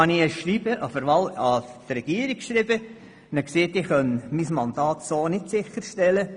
Dann verfasste ich ein Schreiben an die Regierung und sagte, ich könne mein Mandat so nicht sicherstellen.